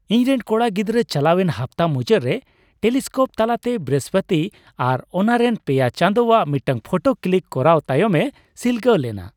ᱤᱧᱨᱮᱱ ᱠᱚᱲᱟ ᱜᱤᱫᱽᱨᱟᱹ ᱪᱟᱞᱟᱣᱮᱱ ᱦᱟᱯᱛᱟ ᱢᱩᱪᱟᱹᱫ ᱨᱮ ᱴᱮᱞᱤᱥᱠᱳᱯ ᱛᱟᱞᱟᱛᱮ ᱵᱨᱤᱦᱚᱥᱯᱚᱛᱤ ᱟᱨ ᱚᱱᱟᱨᱮᱱ ᱯᱮᱭᱟ ᱪᱟᱸᱫᱳᱣᱟᱜ ᱢᱤᱫᱴᱟᱝ ᱯᱷᱳᱴᱳ ᱠᱞᱤᱠ ᱠᱚᱨᱟᱣ ᱛᱟᱭᱚᱢᱮ ᱥᱤᱞᱜᱟᱹᱣ ᱞᱮᱱᱟ ᱾